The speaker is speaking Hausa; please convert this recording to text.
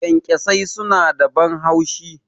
Kyankyasai suna da ban haushi.